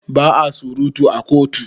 Ba a surutu a kotu.